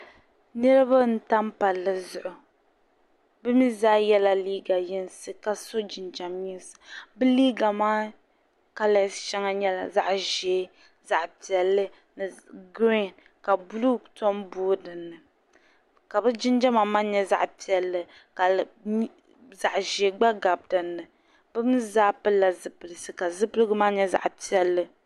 Niraba n tam Palli zuɣu bi mii zaa yɛla liiga yinsi ka so jinjɛm yinsi bi liiga maa kalas shɛŋa nyɛla zaɣ ʒiɛ zaɣ piɛlli ni giriin ka buluu tom boi dinni ka bi jinjɛma maa nyɛ zaɣi piɛlli ka zaɣ ʒiɛ gba gabi dinni bi mii zaa pilila ziplisi ka zipilisi maa nyɛ zaɣ piɛlli